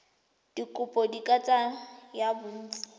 dikopo di ka tsaya bontsi